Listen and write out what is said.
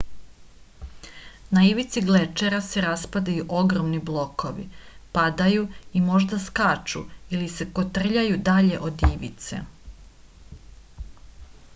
na ivici glečera se raspadaju ogromni blokovi padaju i možda skaču ili se kotrljaju dalje od ivice